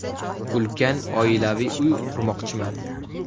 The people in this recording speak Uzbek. Ulkan oilaviy uy qurmoqchiman.